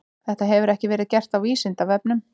Þetta hefur ekki verið gert á Vísindavefnum.